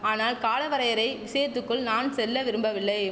ஆனால் காலவரையறை விஷயத்துக்குள் நான் செல்ல விரும்பவில்லை